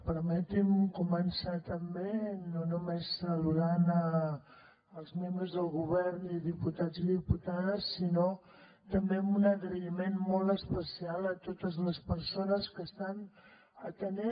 permeti’m començar també no només saludant els membres del govern i diputats i diputades sinó també amb un agraïment molt especial a totes les persones que estan atenent